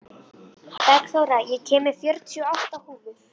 Bergþóra, ég kom með fjörutíu og átta húfur!